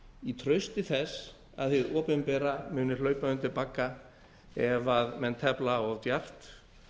í trausti þess að hið opinbera muni hlaupa undir bagga ef menn tefla of djarft